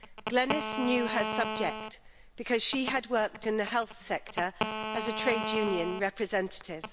Glenys knew her subject because she had worked in the health sector as a trade union representative.